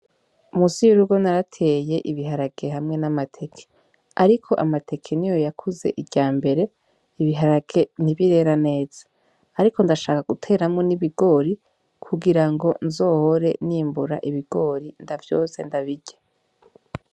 Munsi y'urugo narateye ibiharage hamwe n'amateke, ariko amateke niyo yakuze iryambere, ibiharage ntibirera neza, ariko ndashaka guteramwo n'ibigori kugirango nzohore n'imbura ibigori ndavyotse ndabirye.